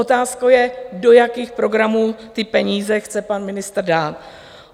Otázkou je, do jakých programů ty peníze chce pan ministr dát.